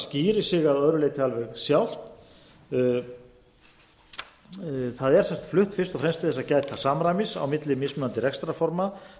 skýrir sig að öðru leyti alveg sjálft það er flutt fyrst og fremst til að gæta samræmis á milli mismunandi rekstrarforma